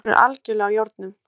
Leikur er algerlega í járnum